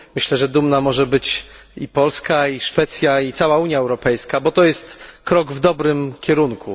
Myślę, że dumna może być i Polska, i Szwecja, i cała Unia Europejska, bo to jest krok w dobrym kierunku.